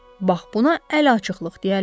Bax buna əl açıqlıq deyərlər.